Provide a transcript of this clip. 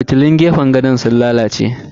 Fitilun gefen gadon sun lalace.